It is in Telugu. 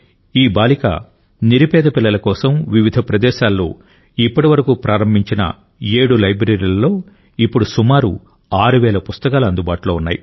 ఈ బాలిక నిరుపేద పిల్లల కోసం వివిధ ప్రదేశాలలో ఇప్పటివరకు ప్రారంభించిన ఏడు లైబ్రరీలలో ఇప్పుడు సుమారు 6 వేల పుస్తకాలు అందుబాటులో ఉన్నాయి